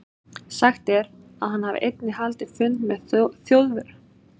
Sagt er, að hann hafi einnig haldið fund með Þjóðverjum í höfuðstað Norðurlands.